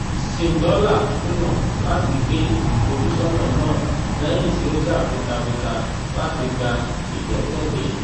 zimdollar kùnà láti gbé ìfojúsọ́nà náà lẹ́yìn tí ó jà fitafita láti gba ìgbẹ́kẹ̀lé.